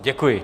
Děkuji.